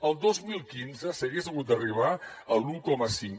el dos mil quinze s’hagués hagut d’arribar a l’un coma cinc